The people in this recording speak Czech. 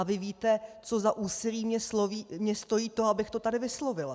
A vy víte, co za úsilí mě stojí to, abych to tady vyslovila.